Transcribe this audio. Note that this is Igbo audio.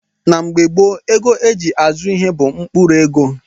Na mgbe gboo, ego a ji azụ ihe bụ mkpụrụ ego